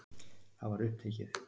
Það var upptekið.